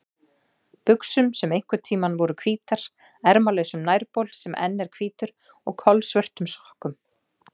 buxum sem einhverntíma voru hvítar, ermalausum nærbol sem enn er hvítur og kolsvörtum sokkum.